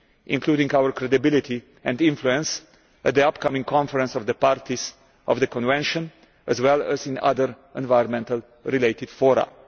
including our credibility and influence at the upcoming Conference of the Parties of the Convention as well as in other environment related fora.